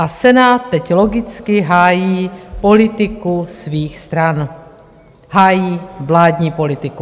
A Senát teď logicky hájí politiku svých stran, hájí vládní politiku.